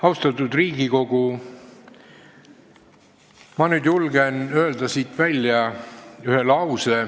Austatud Riigikogu, ma julgen nüüd siit ühe lause välja öelda.